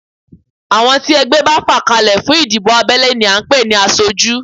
Àwọn tí ẹgbẹ́ bá fà kalẹ̀ fún ìdìbò abẹ́lé ni à ń pè ní aṣojú